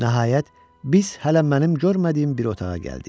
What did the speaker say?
Nəhayət, biz hələ mənim görmədiyim bir otağa gəldik.